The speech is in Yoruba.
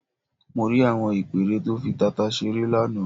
Mo rí àwọn ìpẹ́ẹ́rẹ́ tó fi tata ṣeré lánàá.